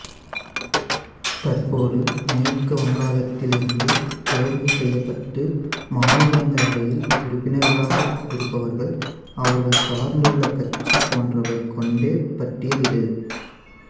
தற்போது மேற்கு வங்காளத்திலிருந்து தேர்வு செய்யப்பட்டு மாநிலங்களவையில் உறுப்பினர்களாக இருப்பவர்கள் அவர்கள் சார்ந்துள்ள கட்சி போன்றவை கொண்ட பட்டியல் இது